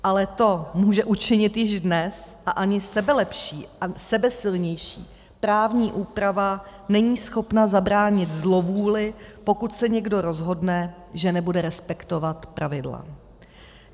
Ale to může učinit již dnes a ani sebelepší a sebesilnější právní úprava není schopna zabránit zlovůli, pokud se někdo rozhodne, že nebude respektovat pravidla.